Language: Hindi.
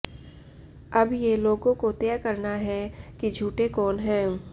अब ये लोगों को तय करना है कि झूठे कौन हैं